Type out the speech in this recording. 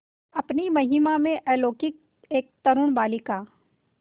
अपनी महिमा में अलौकिक एक तरूण बालिका